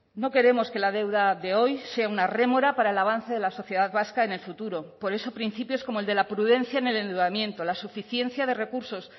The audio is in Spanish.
no queremos que la deuda de hoy sea una rémora para el avance de la sociedad vasca en el futuro por eso principios como el de la prudencia en el endeudamiento la suficiencia de recursos